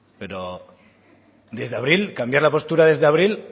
pero desde abril cambiar la postura desde abril